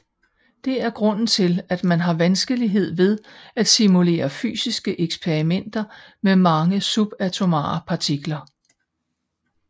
Det er grunden til at man har vanskelighed ved at simulere fysiske eksperimenter med mange subatomare partikler